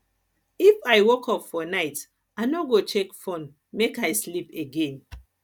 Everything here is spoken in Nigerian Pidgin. if i wake up for night i no go check phone make i sleep again